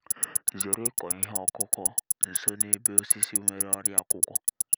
zere ịkọ ihe ọkụkụ nso n’ebe osisi nwere ọrịa akwụkwọ